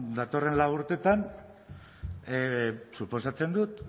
datorren lau urtetan suposatzen dut